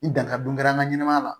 Ni dankari dun kɛra an ka ɲɛnɛmaya la